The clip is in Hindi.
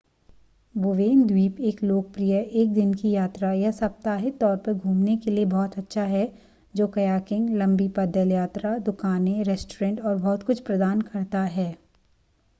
बोवेन द्वीप एक लोकप्रिय एक दिन की यात्रा या सप्ताहित तौर पर घूमने के लिए बहुत अच्छा है जो कयाकिंग लंबी पैदल यात्रा दुकानें रेस्तरां और बहुत कुछ प्रदान करता है